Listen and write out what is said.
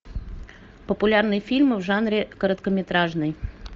популярные фильмы в жанре короткометражный